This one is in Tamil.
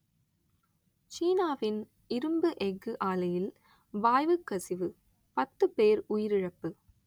சீனாவின் இரும்பு எஃகு ஆலையில் வாய்வு கசிவு பத்து பேர் உயிரிழப்பு